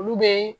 Olu be